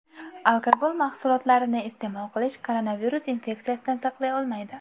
Alkogol mahsulotlarini iste’mol qilish koronavirus infeksiyasidan saqlay olmaydi.